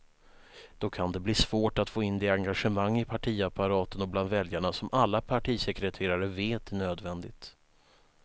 Då kan det bli svårt att få in det engagemang i partiapparaten och bland väljarna som alla partisekreterare vet är nödvändigt.